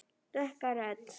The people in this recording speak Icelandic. Dökka rödd.